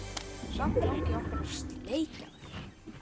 Samt langi okkur að sleikja þær.